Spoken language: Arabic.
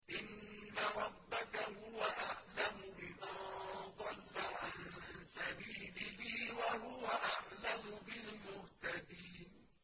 إِنَّ رَبَّكَ هُوَ أَعْلَمُ بِمَن ضَلَّ عَن سَبِيلِهِ وَهُوَ أَعْلَمُ بِالْمُهْتَدِينَ